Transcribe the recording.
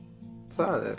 það er